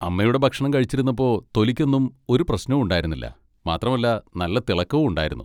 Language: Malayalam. അമ്മയുടെ ഭക്ഷണം കഴിച്ചിരുന്നപ്പോ തൊലിക്കൊന്നും ഒരു പ്രശ്നവും ഉണ്ടായിരുന്നില്ല മാത്രമല്ല നല്ല തിളക്കവും ഉണ്ടായിരുന്നു.